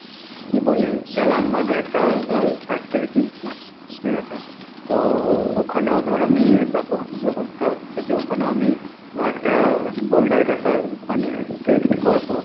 কী বলে? জালানবাদে একটা দর factory কিনছি। ঠিকাছে? তো ওখানেও ধর আমি ব্যবস্থা হচ্ছে যে ওখানেও আমি একটা boulder caser মানে fit করবো।